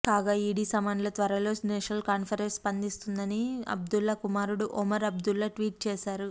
కాగా ఈడీ సమన్లపై త్వరలో నేషనల్ కాన్ఫరెన్స్ స్పందిస్తుందని అబ్దుల్లా కుమారుడు ఒమర్ అబ్దుల్లా ట్వీట్ చేశారు